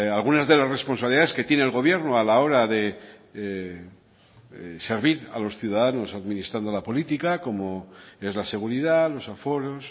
algunas de las responsabilidades que tiene el gobierno a la hora de servir a los ciudadanos administrando la política como es la seguridad los aforos